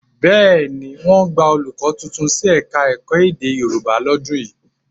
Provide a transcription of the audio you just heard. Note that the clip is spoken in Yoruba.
Bẹ́ẹ̀ ni, wọ́n gba olùkọ́ tuntun sí Ẹ̀ka-ẹ̀kọ́ èdè Yorùbá lọ́dún yìí